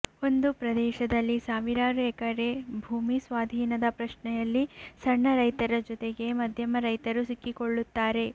ಒಂದು ಪ್ರದೇಶದಲ್ಲಿ ಸಾವಿರಾರು ಎಕರೆ ಭೂಮಿ ಸ್ವಾಧೀನದ ಪ್ರಶ್ನೆಯಲ್ಲಿ ಸಣ್ಣ ರೈತರ ಜೊತೆಗೆ ಮಧ್ಯಮ ರೈತರು ಸಿಕ್ಕಿಕೊಳ್ಳುತ್ತಾರೆ